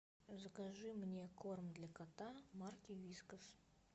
закажи мне корм для кота марки вискас